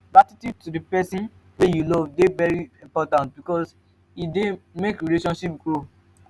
gratitude to persin wey you love de important because e de make relationship grow